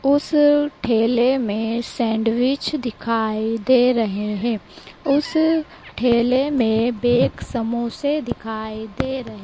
उसे ठेले में सैंडविच दिखाई दे रहे हैं उस ठेले में बेक समोसे दिखाई दे रहे --